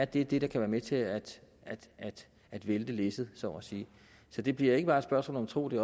det er det der kan være med til at at vælte læsset så at sige så det bliver ikke bare et spørgsmål om tro det